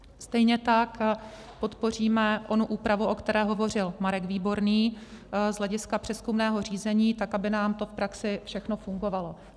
Stejně tak podpoříme onu úpravu, o které hovořil Marek Výborný z hlediska přezkumného řízení, tak aby nám to v praxi všechno fungovalo.